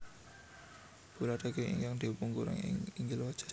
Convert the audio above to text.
Bola daging ingkang dipungoreng ing inggil wajan